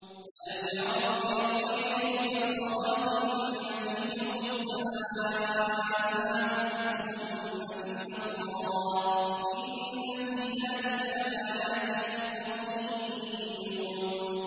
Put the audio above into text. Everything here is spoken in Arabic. أَلَمْ يَرَوْا إِلَى الطَّيْرِ مُسَخَّرَاتٍ فِي جَوِّ السَّمَاءِ مَا يُمْسِكُهُنَّ إِلَّا اللَّهُ ۗ إِنَّ فِي ذَٰلِكَ لَآيَاتٍ لِّقَوْمٍ يُؤْمِنُونَ